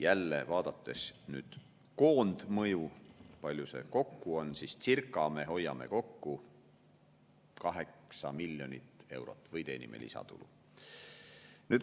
Jälle, vaadates nüüd koondmõju, palju see kokku on, siis circa me hoiame kokku või teenime lisatulu 8 miljonit eurot.